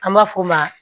An b'a f'o ma